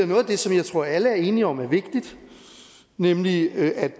noget af det som jeg tror alle er enige om er vigtigt nemlig at